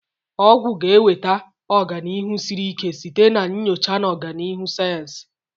Ọgwụ ga-enweta ọganihu siri ike site na nyocha na ọganihu sayensị.